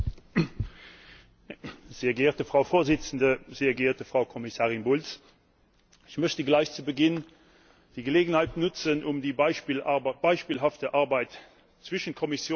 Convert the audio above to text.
Frau Präsidentin, sehr geehrte Frau Kommissarin Bulc! Ich möchte gleich zu Beginn die Gelegenheit nutzen, um die beispielhafte Arbeit zwischen Kommission, Rat und Parlament hervorzuheben.